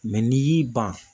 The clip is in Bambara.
Mɛ n'i y'i ban